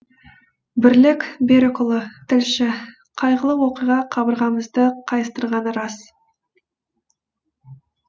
бірлік берікұлы тілші қайғылы оқиға қабырғамызды қайыстырғаны рас